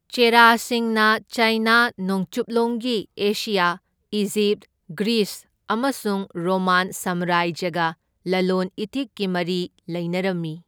ꯆꯦꯔꯥꯁꯤꯡꯅ China, ꯅꯣꯡꯆꯨꯞꯂꯣꯝꯒꯤ Asia, Egypt, Greece ꯑꯃꯁꯨꯡ Roman ꯁꯥꯝꯔꯥꯖ꯭ꯌꯒ ꯂꯂꯣꯟ ꯏꯇꯤꯛꯀꯤ ꯃꯔꯤ ꯂꯩꯅꯔꯝꯃꯤ꯫